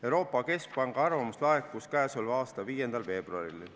Euroopa Keskpanga arvamus laekus k.a 5. veebruaril.